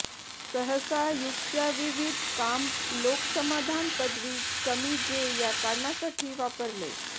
सहसा युक्त्या विविध काम लोक समाधान पदवी कमी जे या कारणासाठी वापरले